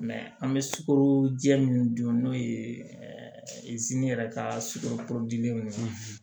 an bɛ sukaro jɛ min dun n'o ye yɛrɛ ka sukoro